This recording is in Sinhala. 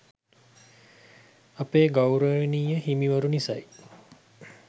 අපේ ගෞරවනීය හිමිවරු නිසයි